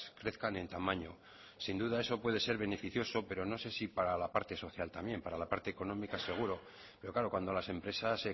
crezcan en tamaño sin duda eso puede ser beneficioso pero no sé si para la parte social también para la parte económica seguro pero claro cuando las empresas